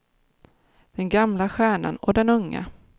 Den gamla stjärnan och den unga.